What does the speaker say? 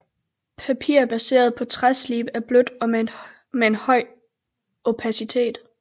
Papir baseret på træslib er blødt og med en høj opacitet